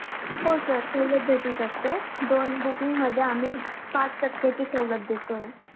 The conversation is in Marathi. हो sir सवलत भेटू शकतो. दोन booking मध्ये आम्ही पाच टक्केची सवलत देतोय.